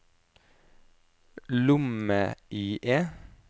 lomme-IE